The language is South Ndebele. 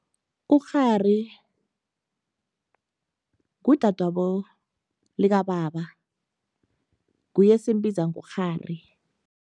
Ukghari ngudadwabo likababa, nguye esimbiza ngokghari.